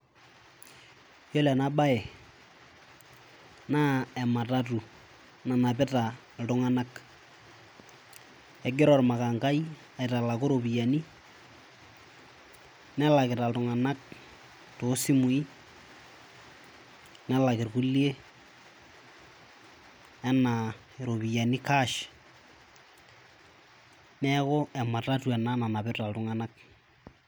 Yiolo ena bae naa ematatu nanapita iltunganak .Egira ormakangai aitalaku iropiyiani nelakita iltunganak too simui ,nelak irkulie enaa iropiyiani cash .Neaku ematatu ena nanapita iltunganak.